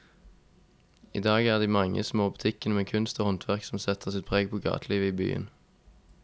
I dag er det de mange små butikkene med kunst og håndverk som setter sitt preg på gatelivet i byen.